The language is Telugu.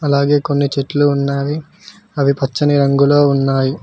అలాగే కొన్ని చెట్లు ఉన్నావి అవి పచ్చని రంగులో ఉన్నాయి.